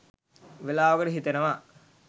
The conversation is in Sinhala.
වෙලාවකට හිතෙනවා